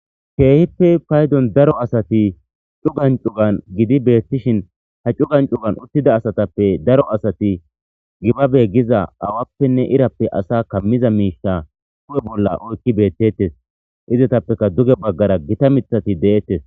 keehippe paydon daro asati cugan cugan gidi beettishin ha cugan cugan uttida asatappe daro asati xibabe giza awappenne irappe asa kammiza miisha ku7e bolla oykki beettettes izatappeka duge baggara gita mithati deettes